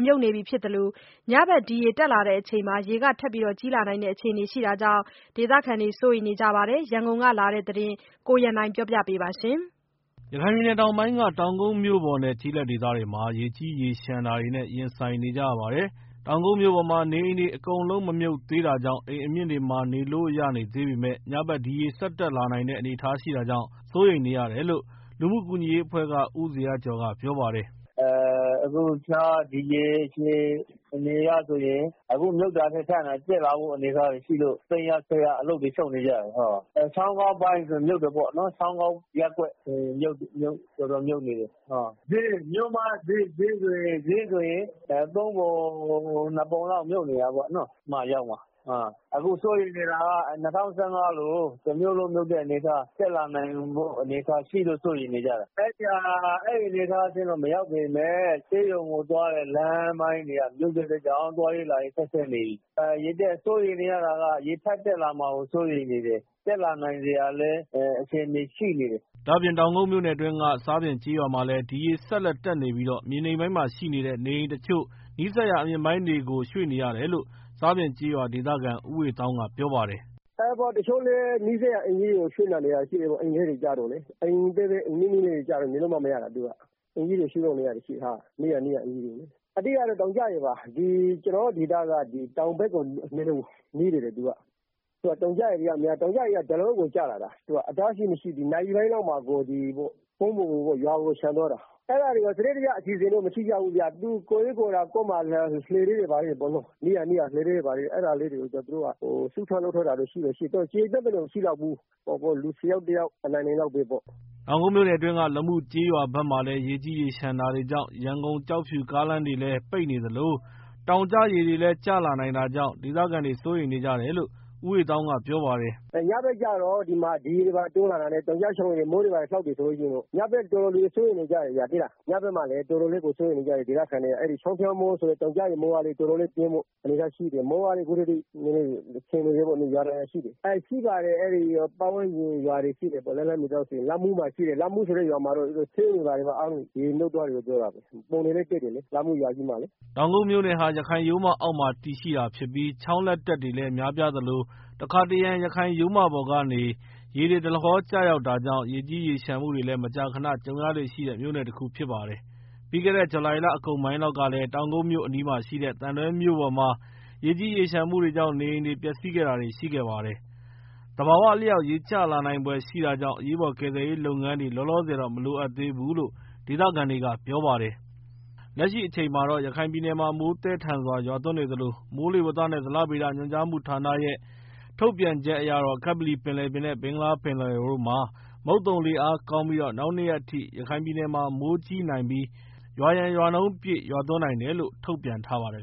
မြုပ်နေပြီဖြစ် သလိုည ဖက် ဒီရေတက်ချိန် ရေထပ်ပြီတော့ တက်လာနိုင်တဲ့ အခြေအနေရှိနေတာကြောင့် ဒေသခံ တွေစိုးရိမ်နေကြပါတယ်။ ရန်ကုန်ကလာတဲ့ သတင်းကို ကိုရန်နိုင် က ပြောပြ ပေးပါမယ်။ ရခိုင်ပြည်နယ်တောင်ပိုင်းက တောင်ကုတ်မြို့ပေါ်နဲ့ ကျေးလက်ဒေသတွေမှာ ရေကြီးရေ လျံတာတွေမှုတွေရင်ဆိုင်နေကြရပါတယ်။ တောင်ကုတ်မြို့ပေါ်မှာတော့ နေအိမ်တွေ အကုန်လုံးမ မြုပ်သေးတာကြောင့် အိမ်အမြင့်တွေမှာ နေလို့ရသေးပေမယ့် ညဖက်ဒီရေဆက်တက်လာနိုင်တဲ့ အနေအထားရှိနေတာကြောင့် စိုးရိမ်နေရတယ်လို့ လုမှုကူညီရေးအဖွဲ့က ဦးဇေယျကျော်ကပြောပါတယ်။ “ လက်ရှိဒီရေ အခြေအနေအရဆိုရင် အခုမြုပ်တာထက် ပိုပြီးတော့ မြုပ်လာနိုင်မယ့် အနေ အထားရှိတယ်။ သိမ်းရ ဆည်းရနဲ့ အလုပ်တွေ ရှုပ်နေကြတယ်။ ချောင်းကောက်ရပ် ကွက်ဆို ရင်မြုပ်နေပြီ တော်တော်မြုပ်နေပြီ။ မြို့မဈေးဆိုရင်လည်း သုံးပုံ နှစ်ပုံလောက် မြုပ်နေ တာ ပေါ့နော်။ အခုစိုးရိမ်နေတာက ၂၀၁၅တုန်းကလို တစ်မြို့လုံး မြုပ်မယ့် အနေအထား ရှိနေလို့ စိုးရိမ်နေကြတာ။ ဆေးရုံကို သွားတဲ့ လမ်းတွေလည်း ရေမြုပ်နေတာကြောင့် သွား ရေး လာ ရေး အခက်အခဲတွေ ရှိနေတယ်။ စိုးရိမ်တာက ရေထပ်တက်လာမှာကို စိုးရိမ်ရ တယ်။ တက်လာဖို့ အခြေအနေလည်း ရှိနေတယ်။” ဒါ့အပြင် တောင်ကုတ်မြို့နယ်အတွင်းက ဆားပြင်ကျေးရွာမှာလည်း ဒီရေဆက်လက် တက် နေပြီး မြေနိမ့်ပိုင်းမှာရှိတဲ့ နေအိမ်တစ်ချို့ နီးစပ်ရာ အမြင့်ပိုင်းတွေကို တယ်လို့ ဆားပြင်ကျေး ရွာဒေသခံ ဦးဝေသောင်းက ပြောပါတယ်။ “ လက်ရှိမှာတော့ တစ်ချို့တွေက နီးစပ်ရာ အိမ်ကြီးတွေကို ရွေ့ပြီးတော့ နေကြတယ်။ နိမ့်တဲ့ အိမ်တွေ ကျတော့ နေလို့မှ မရတာ သူတို့က အဓိကတော့ တောင်ကျရေပါ။ ကျနော်တို့ ဒေသ က တောင်နဲ့နီးတော့ တောင်ကျရေက ကျပြီဆိုရင် ဒလဟောကို ကျလာတာ အတား အဆီးမရှိ နာရီပိုင်းအတွင်း ရွာကို လျံသွားတာ။ စနစ်တကျ အစီအစီအစဉ်တော့ မရှိကြဘူးဗျ ကိုယ့်အစီ အစဉ်နဲ့ ကို လှေလေးတွေ ဘာတွေ နီးစပ်ရာစုပြီး လုပ်ထားကြ တာတော့ရှိတယ်။ လူဆယ် ယောက်လောက် အနိုင်နိုင်လေးပေါ့။” တောင်ကုတ်မြို့နယ်အတွင်းက လမုကျေးရွာဖက်မှာလည်း ရေကြီးရေလျံတာတွေကြောင့် ရန်ကုန် ကျောက်ဖြူ ကားလမ်းတွေလည်း ပိတ်နေသလို တောင်ကျရေတွေ လည်းကျလာ နိုင်တာကြောင့် ဒေသခံတွေ စိုးရိမ် နေကြတယ်လို့ ဦးဝေသောင်းကပြောပါတယ်။ “ညဖက်ကျတော့ ဒီမှာ ဒီရေတွေ တိုးလာတာနဲ့ တောင်ကျချောင်းရေတွေ ကျလာနိုင်တဲ့ ည ဖက် အတွက် တော်တော်စိုးရိမ်နေကြတယ်ဗျာ။ ဒေသခံတွေကလည်း စိုးနေကြတာက ချောင်းဖျားမိုး ဆိုတဲ့ အဲဒီ တောင်ကျချောင်းရေတွေ ကျလာနိုင်ခြေရှိတယ်။ မိုးကလည်း ရွာနေသေးတယ်။ပတ်ဝန်း ရွာ တွေလည်းမြုပ်နေတယ်။ လက်လှမ်းမှီသလောက် အဲဒီလမုဆိုတဲ့ ရွာမှာ ဆေးရုံတွေဘာ တွေ အကုန်မြုပ် နေပြီလို့ ကြားတယ်။ ” တောင်ကုတ်မြို့နယ်ဟာ ရခိုင်ရိုးမ အောက်မှာ တည်ရှိတာဖြစ်ပြီး ချောင်းလက် တက်တွေ လည်း များပြားသလို တစ်ခါတစ်ရံ ရခိုင်ရိုးမပေါ်က ရေတွေ ဒလဟော ကျရောက် တာကြောင့် ရေကြီးရေလျံမှုတွေလည်း မကြာခဏကြုံရလေ့ရှိတဲ့ မြို့နယ်တစ်ခုလည်း ဖြစ်ပါတယ်။ ပြီးခဲ့တဲ့ ဇူလှိုင်လ အကုန်ပိုင်းလောက်ကလည်း တောင်ကုတ်မြို့အနီးမှာရှိတဲ့ သံတွဲမြို့ပေါ်မှာ ရေကြီး ရေလျံမှုတွေကြောင့် နေအိမ်တွေ ပျက်စီးခဲ့တာတွေလည်းရှိပါတယ်။ သဘာဝအလျောက် ရေကျနိုင်ဖွယ်ရှိတာကြောင့် အရေးပေါ်ကယ်ဆယ်ရေးလုပ်ငန်းတွေ လောလောဆယ် မလိုအပ်သေးဘူးလို့ ဒေသခံတွေကပြောပါတယ်။ လက်ရှိအချိန်မှာတော့ ရခိုင်ပြည်နယ်မှာ မိုးသည်းထန်စွာရွာသွန်းနေသလို မိုးလေဝသနဲ့ ဇလ ဗေဒညွန်ကြားမှုဌာနရဲ့ ထုတ်ပြန်ချက်အရ ကပလီပင်လယ်ပြင်နဲ့ ဘင်္ဂလားပင်လယ် အော်တို့ မှာ မုတ်သုံလေအားကောင်းနေပြီး နောက်နှစ်ရက်အထိ ရခိုင်ပြည်နယ်မှာ မိုးကြီးနိုင် ပြီး ရွာရန်ရွာနှုန်းပြည့် ရွာသွန်းနိုင် တယ်လို့ ထုတ်ပြန်ထားပါတယ်